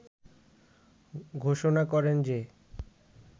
ঘোষণা করেন যে